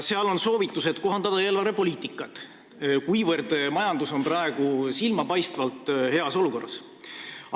Seal on soovitus kohandada eelarvepoliitikat, kuivõrd majandus on praegu silmapaistvalt heas olukorras.